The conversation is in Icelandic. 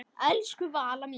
Elsku Valla mín.